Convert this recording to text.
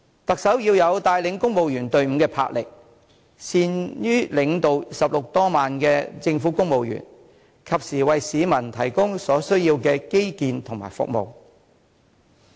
特首要有帶領公務員隊伍的魄力，善於領導16萬名政府公務員，及時為市民提供所需要的基建和服務。